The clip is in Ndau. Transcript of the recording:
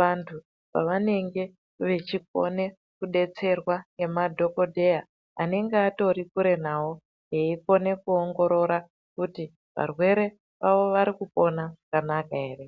vanthu pavanenge vechikone kudetserwa ngemadhokodheya anenge atori kure nao eikone kuongorora kuti varwere vavo vari kupona zvakanaka ere.